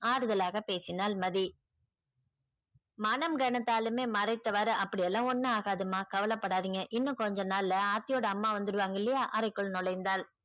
ஆறுதலாக பேசினால் மதி மனம் கனத்தாலுமே மறைத்தவாறு அப்படியெல்லாம் ஒன்னும் ஆகாது மா கவலை படாதீங்க இன்னும் கொஞ்ச நாள் ல ஆர்த்தியோட அம்மா வந்துருவாங்க இல்லையா அறைக்குள் நுழைந்தாள்.